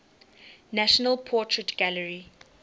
national portrait gallery